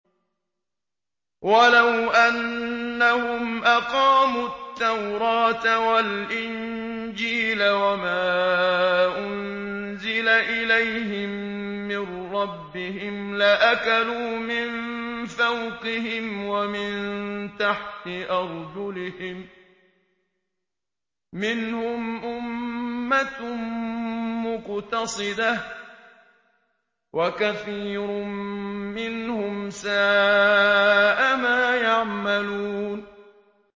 وَلَوْ أَنَّهُمْ أَقَامُوا التَّوْرَاةَ وَالْإِنجِيلَ وَمَا أُنزِلَ إِلَيْهِم مِّن رَّبِّهِمْ لَأَكَلُوا مِن فَوْقِهِمْ وَمِن تَحْتِ أَرْجُلِهِم ۚ مِّنْهُمْ أُمَّةٌ مُّقْتَصِدَةٌ ۖ وَكَثِيرٌ مِّنْهُمْ سَاءَ مَا يَعْمَلُونَ